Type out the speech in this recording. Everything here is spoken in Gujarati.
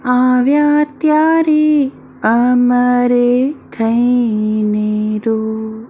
આવ્યા ત્યારે અમારે થઈને રો.